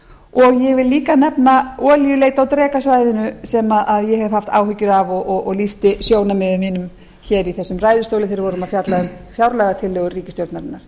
og ég vil líka nefna olíuleit á drekasvæðinu sem ég hef haft áhyggjur af og lýsti sjónarmiðum mínum hér úr þessum ræðustól þegar við voruma á fjalla um fjárlagatillögur ríkisstjórnarinnar